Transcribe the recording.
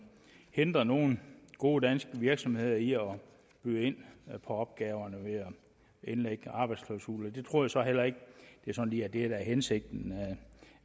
hindrer nogle gode danske virksomheder i at byde ind på opgaverne ved at indlægge arbejdsklausuler det tror jeg så heller ikke lige er hensigten